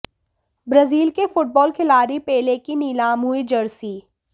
Brazil के football खिलाड़ी Pele की नीलाम हुई जर्सी